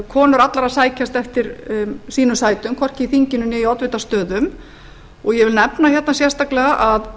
konur allar að sækjast eftir sínum sætum hvorki í þinginu né í oddvitastöðum ég vil nefna hérna sérstaklega að